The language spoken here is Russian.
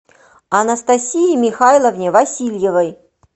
анастасии михайловне васильевой